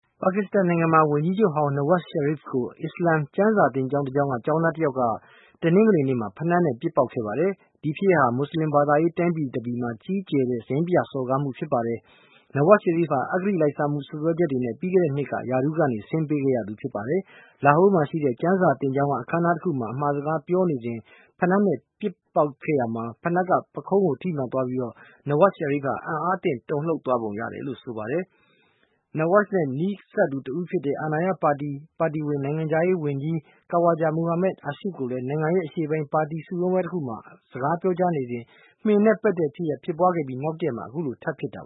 ပါကစ္စတန်နိုင်ငံမှာ ဝန်ကြီးချုပ်ဟောင်း Nawaz Sharif ကို အစ္စလာမ်ကျမ်းစာသင်ကျောင်းတကျောင်းက ကျောင်းသား တယောက်က တနင်္ဂနွေနေ့မှာ ဖိနပ်နဲ့ ပစ်ပေါက်ခဲ့ပါတယ်။ ဒီဖြစ်ရပ်က မွတ်ဆလင်ဘာသာရေးတိုင်းပြည်မှာ ကြီးကျယ်တဲ့ ရိုင်းပြစော်ကားမှုဖြစ်ပါတယ်။ Nawaz Sharif ဟာ အဂတိလိုက်စားမှု စွပ်စွဲချက်တွေနဲ့ ပြီးခဲ့တဲ့ နှစ်က ရာထူးကနေ ဆင်းပေးခဲ့ရသူဖြစ်ပါတယ်။ Lahore မှာရှိတဲ့ ကျမ်းစာသင်ကျောင်းက အခမ်းနားတခုမှာ အမှာစကားပြောကြားစဉ် ပစ်ပေါက်လိုက်တဲ့ ဖိနပ်က ပုခုံးကို ထိမှန်သွားပြီး Nawaz Sharif ဟာ အံ့အားသင့် တုန်လှုပ်သွားပုံရတယ်လို့ ဆိုပါတယ်။ Nawaz Sharif နဲ့ နီးစပ်သူတဦးလည်းဖြစ် အာဏာရပါတီဝင် နိုင်ငံခြားရေးဝန်ကြီး Kawaja Muhammad Asif ကို နိုင်ငံရဲ့ အရှေ့ပိုင်း ပါတီစုရုံးပွဲတခုမှာ စကားပြောနေစဉ် မင်နဲ့ ပက်တဲ့ ဖြစ်ရပ် ဖြစ်ပွားခဲ့ပြီး နောက်တရက်မှာ အခုလိုထပ်ဖြစ်တာ